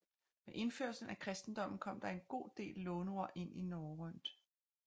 Med indførelsen af kristendommen kom der en god del låneord ind i norrønt